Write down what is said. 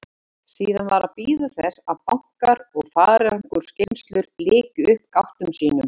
Síðan var að bíða þess að bankar og farangursgeymslur lykju upp gáttum sínum.